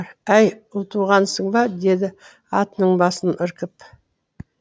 әй ұлтуғансың ба деді атының басын іркіп